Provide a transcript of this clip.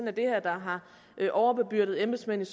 er det her der har overbebyrdet embedsmændene